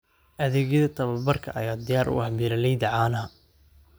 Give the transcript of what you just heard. Adeegyada tababarka ayaa diyaar u ah beeralayda caanaha.